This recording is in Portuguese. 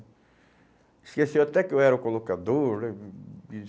Esqueceu até que eu era o colocador